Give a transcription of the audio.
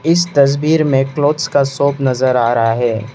इस तस्वीर में क्लॉथ्स का शॉप नजर आ रहा है।